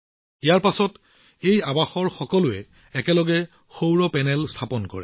ইয়াৰ পিছত এই ছচাইটিত সকলোৱে একেলগে সৌৰ পেনেল স্থাপন কৰিছিল